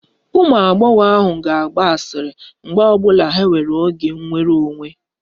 Ụmụ agbọghọ ahụ ga-agba asịrị mgbe ọ bụla ha nwere oge nnwere onwe